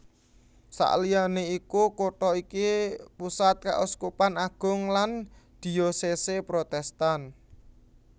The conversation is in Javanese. Saliyané iku kutha iki pusat Kauskupan Agung lan Diocese Protestan